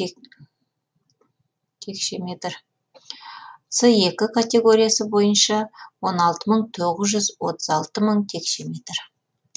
текше метр с екі категориясы бойынша он алты мың тоғыз жүз отыз алты мың текше метр